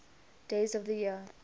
days of the year